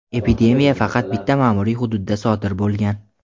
epidemiya faqat bitta ma’muriy hududda sodir bo‘lgan.